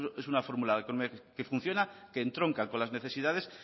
es una fórmula que funciona que entronca con las necesidades